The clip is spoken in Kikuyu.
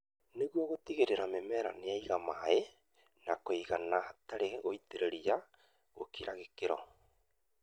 nĩguo gũtigĩrĩra atĩ mĩmera nĩ yagĩa maĩ ma kũigana hatarĩ gũitĩrĩria gũkĩra gĩkĩro.